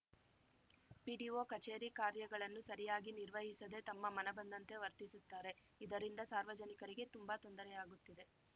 PDO ಕಚೇರಿ ಕಾರ್ಯಗಳನ್ನು ಸರಿಯಾಗಿ ನಿರ್ವಹಿಸದೇ ತಮ್ಮ ಮನಬಂದಂತೆ ವರ್ತಿಸುತ್ತಾರೆ ಇದರಿಂದ ಸಾರ್ವಜನಿಕರಿಗೆ ತುಂಬಾ ತೊಂದರೆ ಆಗುತ್ತಿದೆ